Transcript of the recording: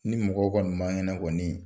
Ni mɔgɔ kɔni man kɛnɛ kɔni